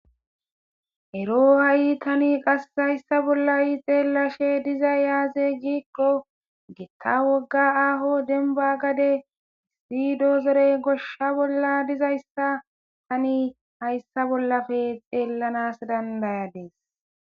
ero ha7i tani qass hayssa bollayi xeelashe dizay yaaze giiqqo getta wogga aaho denba gade issi doozerey gosha bolla dizayssa tani hayssa bollafe xeellanas dandayades